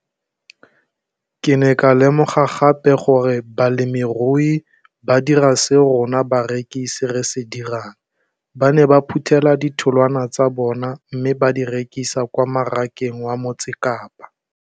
Ke ne ka lemoga gape gore balemirui ba dira seo rona barekisi re se dirang, ba ne ba phuthela ditholwana tsa bona mme ba di rekisa kwa marakeng wa Motsekapa.